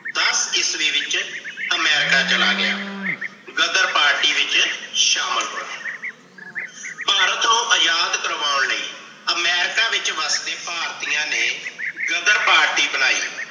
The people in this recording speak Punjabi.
ਦਸ ਈਸਵੀ ਵਿੱਚ ਅਮੇਰਿਕਾ ਚਲਾ ਗਿਆ। ਗ਼ਦਰ ਪਾਰਟੀ ਵਿਚ ਸ਼ਾਮਿਲ ਹੋਇਆ। ਭਾਰਤ ਨੂੰ ਆਜ਼ਾਦ ਕਰਵਾਓਣ ਲਈ ਅਮੇਰਿਕਾ ਵਿੱਚ ਵਸਦੇ ਭਾਰਤੀਆਂ ਨੇ ਗ਼ਦਰ party ਬਣਾਈ ।